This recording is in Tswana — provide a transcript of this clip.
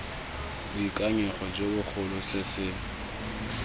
boikanyego jo bogolo se se